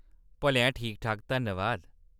भलेआं ठीक-ठाक, धन्नबाद।